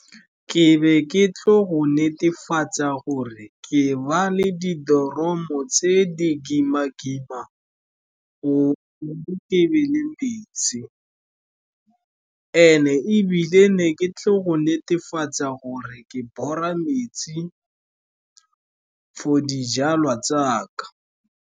Ke be ke tlo go netefatsa gore ke ba le di doromo tse di kima-kima, gore ke be le metsi, and-e ebile ne ke tlo go netefatsa gore ke bora metsi for dijalwa tsaka.